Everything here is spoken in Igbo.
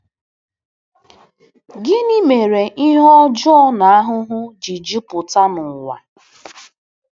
Gịnị mere ihe ọjọọ na ahụhụ ji jupụta n’ụwa?